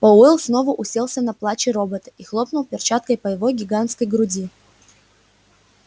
пауэлл снова уселся на плачи робота и хлопнул перчаткой по его гигантской груди